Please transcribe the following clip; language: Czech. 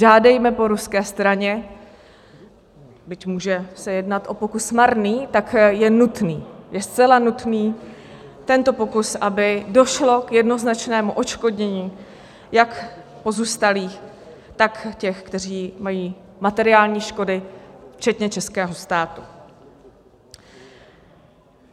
Žádejme po ruské straně, byť může se jednat o pokus marný, tak je nutný, je zcela nutný tento pokus, aby došlo k jednoznačnému odškodnění jak pozůstalých, tak těch, kteří mají materiální škody včetně českého státu.